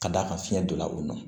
Ka d'a kan fiɲɛ donna u nɔ na